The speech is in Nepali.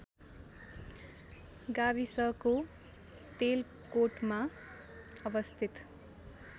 गाविसको तेलकोटमा अवस्थित